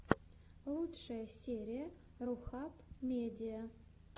лучшая серия рухаб медиа